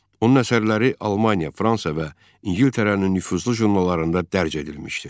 Onun əsərləri Almaniya, Fransa və İngiltərənin nüfuzlu jurnallarında dərc edilmişdi.